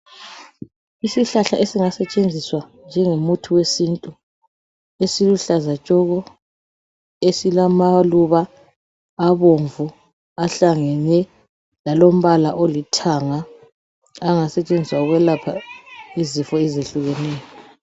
Isihlahla esingasetshenziswa njengomuthi wesintu esiluhlaza tshoko esilamaluba abomvu ahlangene lalombala olithanga angasetshenziswa ukwelapha izifo ezehlukeneyo